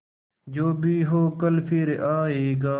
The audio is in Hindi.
जो भी हो कल फिर आएगा